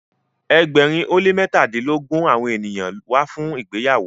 egbèrin o le mẹtadilogun awọn ènìyàn wá fun ìgbéyàwó.